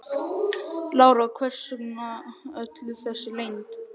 Lára: Hvers vegna öll þessi leynd?